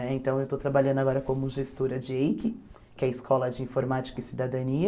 Eh então, eu estou trabalhando agora como gestora de EIC, que é a Escola de Informática e Cidadania.